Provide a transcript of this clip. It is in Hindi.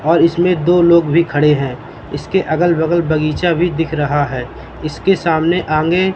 और इसमें दो लोग भी खड़े हैं इसके अगल बगल बगीचा भी दिख रहा है इसके सामने आगे--